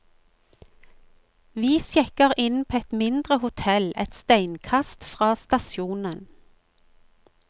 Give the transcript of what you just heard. Vi sjekker inn på et mindre hotell et steinkast fra stasjonen.